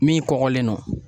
Min kɔgɔlen don